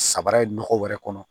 Sabara ye nɔgɔ wɛrɛ kɔnɔ